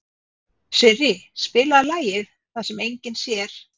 Sirrí, spilaðu lagið „Það sem enginn sér“.